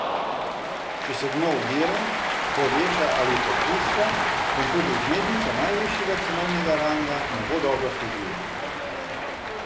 Če se dno udira, poveša ali popušča, vam tudi vzmetnica najvišjega cenovnega ranga ne bo dobro služila.